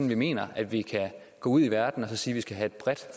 vi mener at vi kan gå ud i verden og sige at vi skal have et bredt